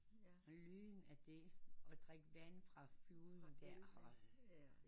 Og lyn af det og drik vand fra floden